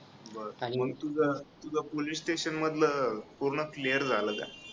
बर मंग तुझा police station मधल पूर्ण clear झालं का?